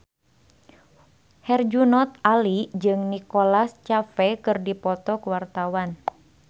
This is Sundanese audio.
Herjunot Ali jeung Nicholas Cafe keur dipoto ku wartawan